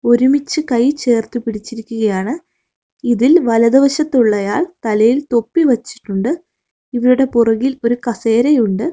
ഒരുമിച്ച് കൈ ചേർത്ത് പിടിച്ചിരിക്കുകയാണ് ഇതിൽ വലതു വശത്തുള്ളയാൾ തലയിൽ തൊപ്പി വച്ചിട്ടുണ്ട് ഇവരുടെ പുറകിൽ ഒരു കസേര ഉണ്ട്.